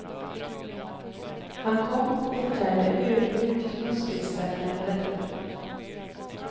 Han kom, och förtärde ödmjukt muskelstärkande rätter.